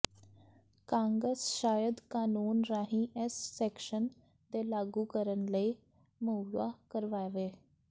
ਕਾਂਗਸ ਸ਼ਾਇਦ ਕਾਨੂੰਨ ਰਾਹੀਂ ਇਸ ਸੈਕਸ਼ਨ ਦੇ ਲਾਗੂ ਕਰਨ ਲਈ ਮੁਹੱਈਆ ਕਰਵਾਵੇ